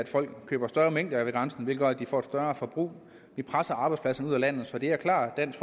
folk køber større mængder ved grænsen hvilket gør at de får et større forbrug vi presser arbejdspladserne ud af landet så det er klart dansk